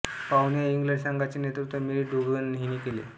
पाहुण्या इंग्लंड संघाचे नेतृत्व मेरी डुगन हिने केले